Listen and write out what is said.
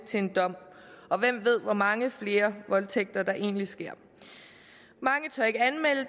til en dom og hvem ved hvor mange flere voldtægter der egentlig sker mange tør ikke anmelde